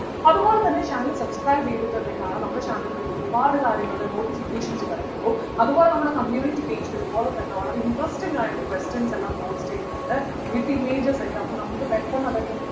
അതുപോലെതന്നെ channel subscribe ചെയ്തിട്ടുണ്ടെങ്കിലാണ് നമ്മുടെ channel ൽ വരുന്ന ഒരുപാട് കാര്യങ്ങളുടെ notifications വരത്തുള്ളൂ അതുപോലെ നമ്മുടെ community page ലും അതുപോലെതന്നെ വളരെ interesting ആയിട്ട് questions എല്ലാം post ചെയ്യുന്നുണ്ട് with images ഒക്കെ അപ്പോൾ നമുക്ക് പെട്ടെന്ന് അതൊക്കെ